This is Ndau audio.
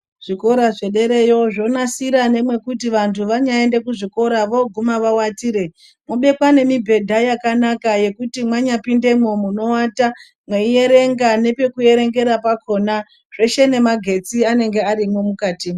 Zvikora zvederayo zvonasira nemwekuti vantu vanyaende kuzvikora voguma vawatire. Mobekwa nemibhedha yakanaka yekuti manyapindemwo munowata meiverenga nepekuverengera pakona, zveshe nemagetsi anenge arimwo mukatimwo.